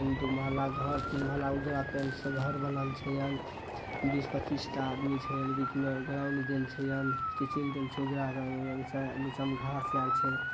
इम दु माहला घर तीन माहला उजला पैंट से घर बनल छै हन। बीस-पचीस टा आदमी छै बीच में ग्राउन्ड देल छै हन नीचा में घांस आर छै ।